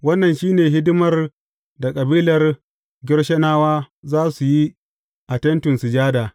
Wannan shi ne hidimar da kabilar Gershonawa za su yi a Tentin Sujada.